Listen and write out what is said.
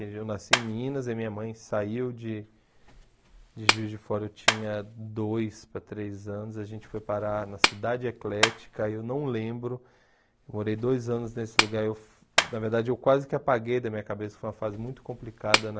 Eu nasci em Minas e minha mãe saiu de de Juiz de Fora, eu tinha dois para três anos, a gente foi parar na Cidade Eclética, eu não lembro, eu morei dois anos nesse lugar, eu na verdade eu quase que apaguei da minha cabeça, foi uma fase muito complicada na...